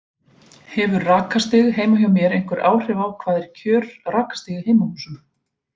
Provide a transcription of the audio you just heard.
Hefur rakastig heima hjá mér einhver áhrif og hvað er kjör rakastig í heimahúsum?